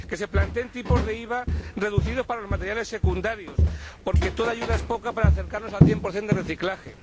que se planteen tipos de IVA reducidos para los materiales secundarios, porque toda ayuda es poca para acercarnos al cien por cien de reciclaje